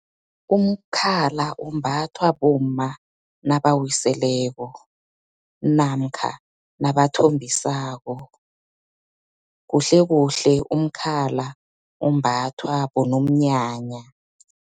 Umkhala umbathwa bomma nabawiseleko, namkha nabathombisako, kuhlekuhle umkhala umbathwa bonomnyanya.